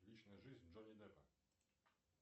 личная жизнь джонни деппа